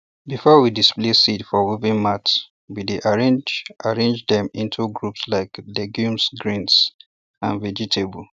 before we display seeds for woven mats we dey arrange arrange dem into groups like legumes grains and vegetables